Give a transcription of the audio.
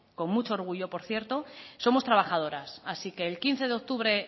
con mucho orgullo por cierto somos trabajadoras así que el quince de octubre